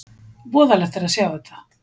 Voðalegt að sjá þetta!